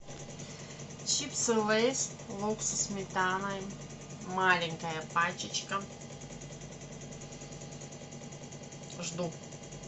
чипсы лейс лук со сметаной маленькая пачечка жду